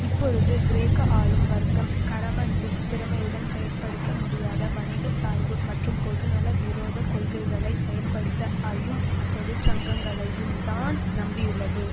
இப்பொழுது கிரேக்க ஆளும் வர்க்கம் கரமன்லிஸ் திறமையுடன் செயல்படுத்த முடியாத வணிக சார்பு மற்றும் பொதுநல விரோத கொள்கைகளை செயல்படுத்த ஐயும் தொழிற்சங்கங்களையும்தான் நம்பியுள்ளது